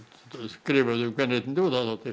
skrifuðu um kvenréttindi